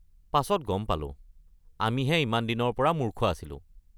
পাছত গম পালোঁ, আমিহে ইমান দিনৰ পৰা মূৰ্খ আছিলোঁ।